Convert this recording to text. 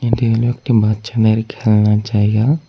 এটি হইল একটি বাচ্চাদের খেলনার জায়গা।